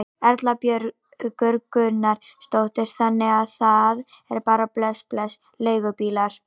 Erla Björg Gunnarsdóttir: Þannig að það er bara bless bless leigubílar?